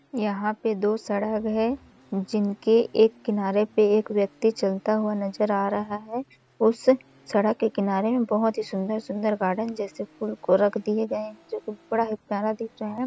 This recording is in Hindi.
यहाँ पे दो सड़ग है जिनके एक किनारे पे एक व्यक्ति चलता हुआ नजर आ रहा है उस सड़ग के किनारे में बहुत ही सुन्दर-सुन्दर गार्डन जैसे फूल को रख दिए गए है जोकि बड़ा ही प्यारा दिख रहा हैं ।